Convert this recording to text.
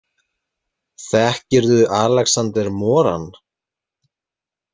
Þekkirðu Alexander Moran?